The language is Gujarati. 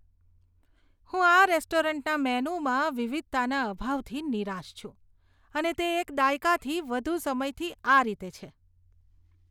હું આ રેસ્ટોરન્ટના મેનૂમાં વિવિધતાના અભાવથી નિરાશ છું અને તે એક દાયકાથી વધુ સમયથી આ રીતે છે.